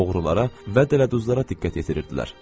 oğrulara və dələduzlara diqqət yetirirdilər.